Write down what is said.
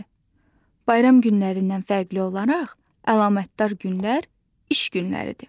Bayram günlərindən fərqli olaraq əlamətdar günlər iş günləridir.